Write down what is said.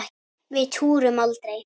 Við túrum aldrei!